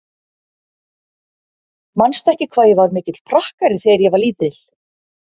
Manstu ekki hvað ég var mikill prakkari þegar ég var lítil?